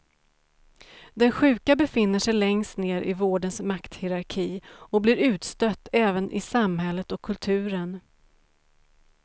Den sjuka befinner sig längst ned i vårdens makthierarki och blir utstött även i samhället och kulturen.